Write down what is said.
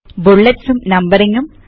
bullets numbering